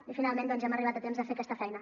i finalment hem arribat a temps de fer aquesta feina